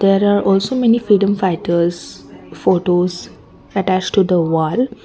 There are also many freedom fighters photos attached to the wall.